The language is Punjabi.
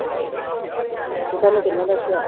ਤੇ ਤੈਨੂੰ ਕਿਹਨੇ ਦੱਸਿਆ?